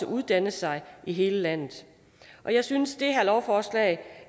uddanne sig i hele landet og jeg synes det her lovforslag